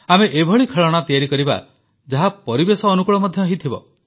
ଆମେ ଏଭଳି ଖେଳଣା ତିଆରି କରିବା ଯାହା ପରିବେଶ ଅନୁକୂଳ ମଧ୍ୟ ହୋଇଥିବ